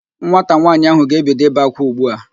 Nwata nwaanyị ahụ ga-ebido ibe ákwá ugbu a